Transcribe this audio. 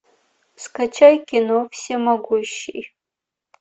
скачай кино всемогущий